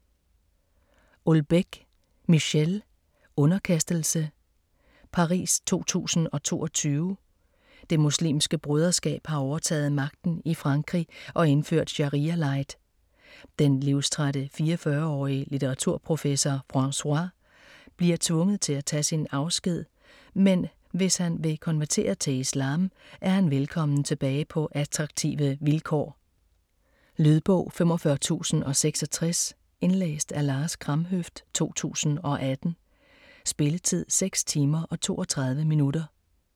Houellebecq, Michel: Underkastelse Paris 2022. Det Muslimske Broderskab har overtaget magten i Frankrig og indført sharia-light. Den livstrætte 44-årige litteraturprofessor Francois bliver tvunget til at tage sin afsked, men hvis han vil konvertere til islam, er han velkommen tilbage på attraktive vilkår. Lydbog 45066 Indlæst af Lars Kramhøft, 2018. Spilletid: 6 timer, 32 minutter.